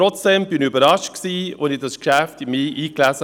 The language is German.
Trotzdem war ich überrascht, als ich mich in dieses Geschäft einlas.